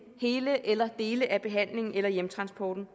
hele eller dele af behandlingen eller hjemtransporten